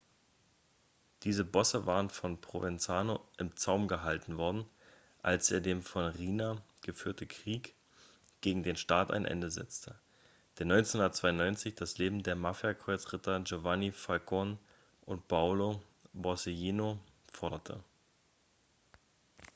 diese bosse waren von provenzano im zaum gehalten worden als er dem von riina geführten krieg gegen den staat ein ende setzte der 1992 das leben der mafia-kreuzritter giovanni falcone und paolo borsellino forderte